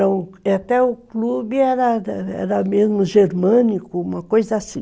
Até o clube era mesmo germânico, uma coisa assim.